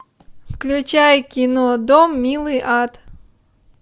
включай кино дом милый ад